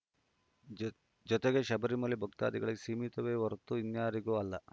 ಜ ಜೊತೆಗೆ ಶಬರಿಮಲೆ ಭಕ್ತಾದಿಗಳಿಗೆ ಸೀಮಿತವೇ ಹೊರತೂ ಇನ್ಯಾರಿಗೂ ಅಲ್ಲ